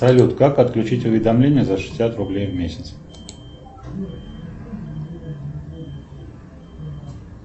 салют как отключить уведомления за шестьдесят рублей в месяц